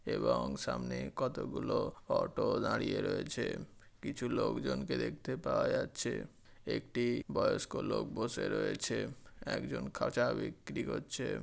এবং সামনে কতগুলো অটো দাঁড়িয়ে রয়েছে কিছু লোকজনকে দেখতে পাওয়া যাচ্ছে একটি বয়স্ক লোক বসে রয়েছে একজন খাঁচা বিক্রি করছে।